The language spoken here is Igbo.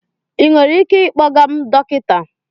Ị nwere ike ịkpọga m dọkịta?